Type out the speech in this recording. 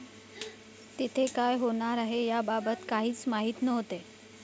तिथे क़ाय होणार आहे याबाबत काहीच माहीत नव्हते.